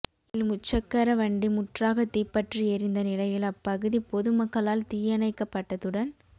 இதில் முச்சக்கர வண்டி முற்றாக தீப்பற்றி எரிந்த நிலையில் அப்பகுதி பொது மக்களால் தீயணைக்கப்பட்டதுடன்